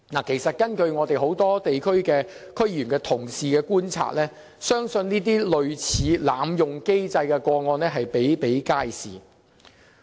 事實上，根據眾多地區的區議員同事的觀察，這類濫用機制的個案比比皆是。